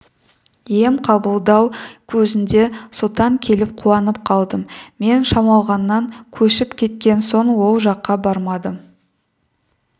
ем қабылдау кезінде сұлтан келіп қуанып қалдым мен шамалғаннан көшіп кеткен соң ол жаққа бармадым